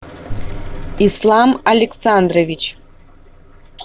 ислам александрович